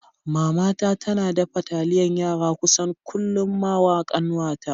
Mama ta tana dafa taliyan yara kusan kullum mawa ƙanwata.